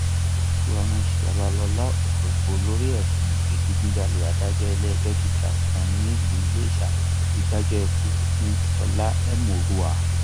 florence babasola ọsọgbọ lórí ẹsùn ìdígunjalè adájọ iléẹjọ gíga kan nílùú iléṣà ti dájọ ikú fún sọlá ẹmórúà